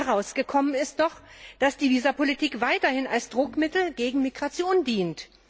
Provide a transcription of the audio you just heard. Herausgekommen ist doch, dass die Visa Politik weiterhin als Druckmittel gegen Migration dient.